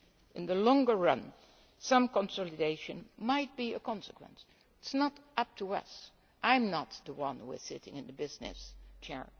In the longer run, some consolidation might be a consequence it is not up to us. I am not the one sitting in the business